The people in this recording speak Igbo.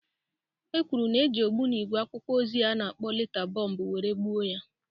E kwuru na-e ji ogbunigwe akwụkwọ ozi a na-akpọ leta bomb were gbuo ya.